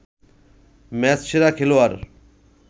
ম্যাচসেরা খেলোয়াড়